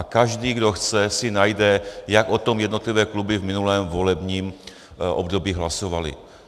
A každý, kdo chce, si najde, jak o tom jednotlivé kluby v minulém volebním období hlasovaly.